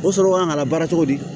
O sɔrɔ kan ka labaara cogo di